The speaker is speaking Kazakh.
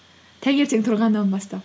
таңертең тұрғаннан бастап